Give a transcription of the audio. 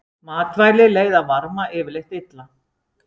Matvæli leiða varma yfirleitt illa.